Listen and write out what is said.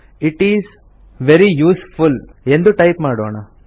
it is very useful ಎಂದು type ಮಾಡೋಣ